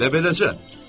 Elə beləcə?